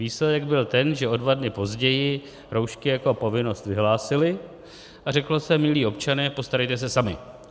Výsledek byl ten, že o dva dny později roušky jako povinnost vyhlásili a řeklo se: milí občané, postarejte se sami.